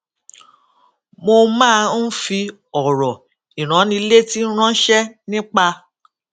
mo máa ń fi òrò ìránnilétí ránṣé nípa